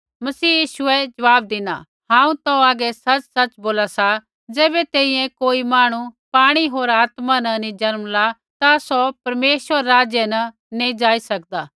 मसीह यीशुऐ ज़वाब धिना हांऊँ तौ हागै सच़सच़ बोला सा ज़ैबै तैंईंयैं कोई मांहणु पाणी होर आत्मा न नी जन्मला ता सौ परमेश्वर रै राज्य न नैंई जाई सकदा